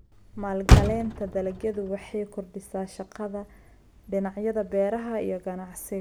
Maalgelinta dalagyadu waxay kordhisaa shaqada dhinacyada beeraha iyo ganacsiga.